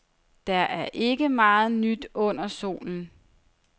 Der er ikke meget nyt under solen.